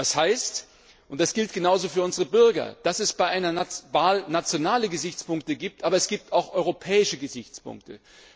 Das heißt und das gilt genauso für unsere Bürger dass es bei einer Wahl nationale Gesichtspunkte gibt, aber auch europäische Gesichtspunkte.